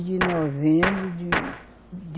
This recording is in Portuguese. De novembro de, de